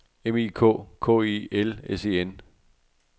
M I K K E L S E N